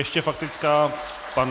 Ještě faktická pan...